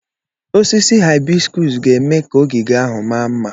Osisi haịbiskus ga-eme ka ogige ahụ maa mma.